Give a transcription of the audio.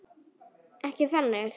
Ekki þannig.